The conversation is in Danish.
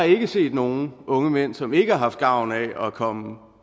ikke har set nogen unge mænd som ikke har haft gavn af at komme